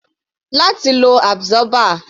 Láti wo absorber.